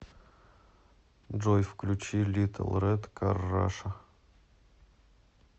джой включи литл рэд кар раша